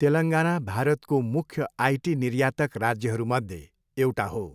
तेलङ्गाना भारतको मुख्य आइटी निर्यातक राज्यहरूमध्ये एउटा हो।